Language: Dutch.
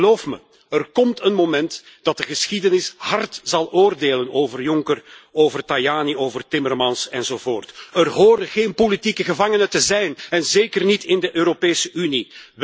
Geloof me, er komt een moment dat de geschiedenis hard zal oordelen over Juncker, over Tajani, over Timmermans enzovoort. Er horen geen politieke gevangenen te zijn en zeker niet in de Europese Unie.